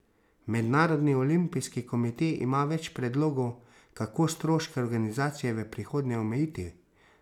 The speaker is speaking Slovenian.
Mednarodni olimpijski komite ima več predlogov, kako stroške organizacije v prihodnje omejiti.